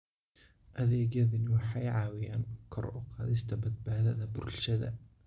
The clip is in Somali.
Adeegyadani waxay caawiyaan kor u qaadista badbaadada bulshada.